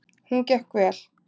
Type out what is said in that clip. Hún gekk vel.